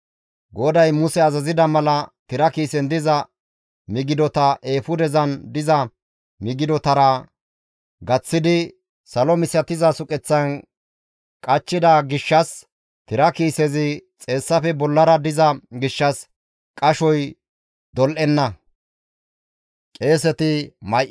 GODAY Muse azazida mala tira kiisen diza migidota eefudezan diza migidotara gaththidi, salo misatiza suqeththan qachchida gishshas tira kiisezi xeessafe bollara diza gishshas, qashoy dol7enna.